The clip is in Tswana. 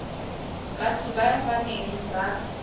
batho ba ba neng ba